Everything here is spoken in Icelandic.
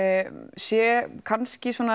sé kannski svona